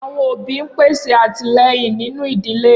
Awọn obi n pese atilẹyin ninu idile.